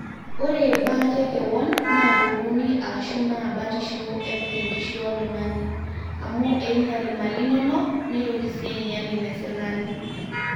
ore baata ekewon naa toroni aashu naa batishu epik enkishui oltung'ani amu einyal imali inonok neitoki sii ainyal inesirkali